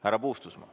Härra Puustusmaa.